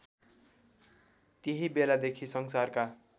त्यही बेलादेखि संसारका